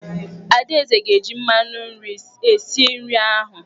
Adaeze ga-eji mmanụ nri esi nri ahụ.